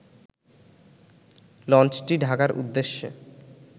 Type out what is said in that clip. লঞ্চটি ঢাকার উদ্দেশ্যে